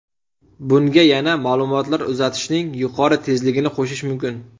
Bunga yana ma’lumotlar uzatishning yuqori tezligini qo‘shish mumkin.